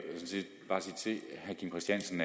kim christiansen